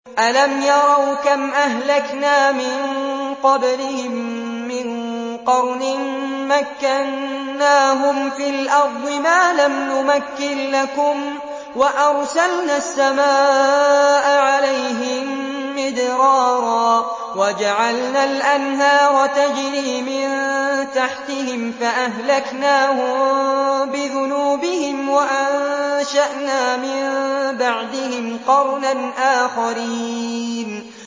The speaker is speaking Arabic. أَلَمْ يَرَوْا كَمْ أَهْلَكْنَا مِن قَبْلِهِم مِّن قَرْنٍ مَّكَّنَّاهُمْ فِي الْأَرْضِ مَا لَمْ نُمَكِّن لَّكُمْ وَأَرْسَلْنَا السَّمَاءَ عَلَيْهِم مِّدْرَارًا وَجَعَلْنَا الْأَنْهَارَ تَجْرِي مِن تَحْتِهِمْ فَأَهْلَكْنَاهُم بِذُنُوبِهِمْ وَأَنشَأْنَا مِن بَعْدِهِمْ قَرْنًا آخَرِينَ